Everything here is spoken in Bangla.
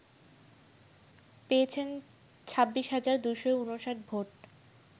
পেয়েছেন ২৬ হাজার ২৫৯ ভোট